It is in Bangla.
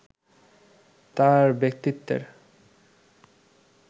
তাঁর ব্যক্তিত্বের